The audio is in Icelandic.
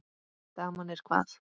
Daman er hvað.